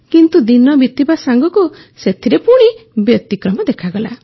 କିନ୍ତୁ ଦିନ ବିତିବା ସାଙ୍ଗକୁ ସେଥିରେ ବ୍ୟତିକ୍ରମ ଦେଖାଗଲା